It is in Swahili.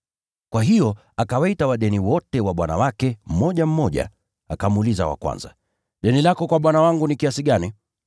“Kwa hiyo akawaita wadeni wote wa bwana wake, mmoja mmoja. Akamuuliza wa kwanza, ‘Deni lako kwa bwana wangu ni kiasi gani?’